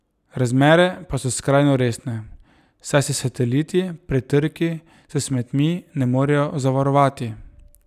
Razmere pa so skrajno resne, saj se sateliti pred trki s smetmi ne morejo zavarovati.